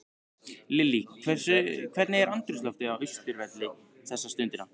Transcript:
Lillý, hvernig er andrúmsloftið á Austurvelli þessa stundina?